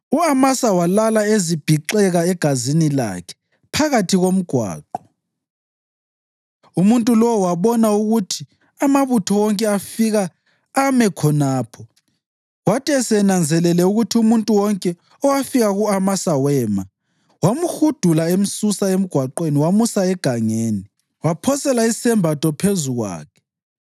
U-Amasa walala ezibhixeka egazini lakhe phakathi komgwaqo, umuntu lowo wabona ukuthi amabutho wonke afika ame khonapho. Kwathi esenanzelele ukuthi umuntu wonke owafika ku-Amasa wema, wamhudula emsusa emgwaqweni wamusa egangeni, waphosela isembatho phezu kwakhe.